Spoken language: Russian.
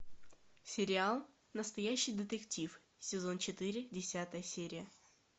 сериал настоящий детектив сезон четыре десятая серия